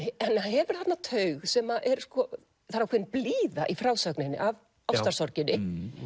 hefur þarna taug sem er sko það er ákveðin blíða í frásögninni af ástarsorginni